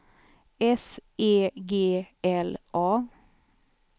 S E G L A